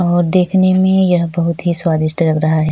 और देखने मै यह बहुत स्वादिस्ट लग रहा है। --